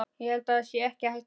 Ég held það sé ekki hætta á því.